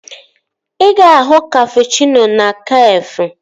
Ị ga-ahụ kapụchịno na Kafé